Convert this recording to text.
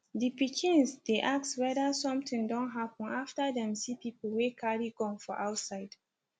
di pikins dey ask wether somtin don happen after dem see pipu wey carry gun for outside